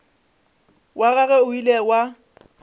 wa gagwe o ile wa